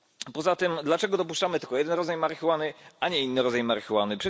Poza tym dlaczego dopuszczamy tylko jeden rodzaj marihuany, a nie inny rodzaj marihuany?